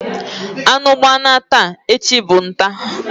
Anu gbana taa, echi bu ntaa.